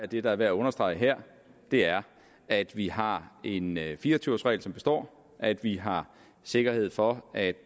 det der er værd at understrege her er at vi har en fire og tyve års regel som består at vi har sikkerhed for at